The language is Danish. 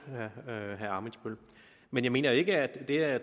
men jeg mener ikke at det at